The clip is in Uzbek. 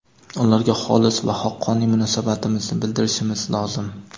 ularga xolis va haqqoniy munosabatimizni bildirishimiz lozim.